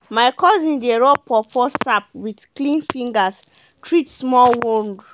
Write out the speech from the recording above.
my cousin dey rub pawpaw sap with clean fingers treat small would.